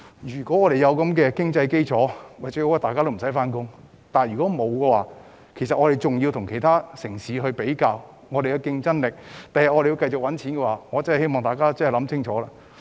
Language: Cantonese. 如果有經濟基礎，最好大家都無需返工；但如果沒有，我們仍然要跟其他城市比較競爭力，日後仍要繼續賺錢，所以我真的希望大家要想清楚。